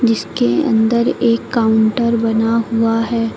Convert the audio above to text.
जिसके अंदर एक काउंटर बना हुआ है।